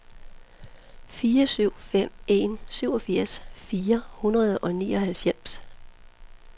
fire syv fem en syvogfirs fire hundrede og nioghalvfems